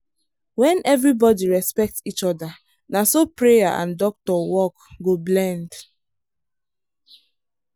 when everybody respect each other na so prayer and doctor work go blend